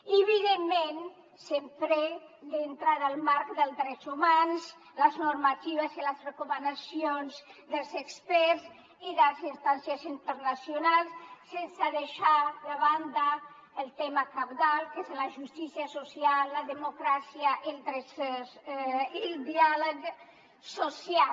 i evidentment sempre dintre del marc dels drets humans les normatives i les recomanacions dels experts i de les instàncies internacionals sense deixar de banda el tema cabdal que és la justícia social la democràcia i el diàleg social